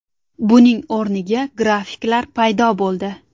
Buning o‘rniga grafiklar paydo bo‘ldi.